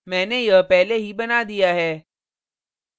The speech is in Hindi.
मैंने यह पहले ही बना दिया है